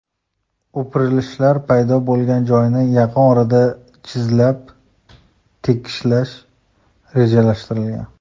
O‘pirilishlar paydo bo‘lgan joyni yaqin orada zichlab, tekislash rejalashtirilgan.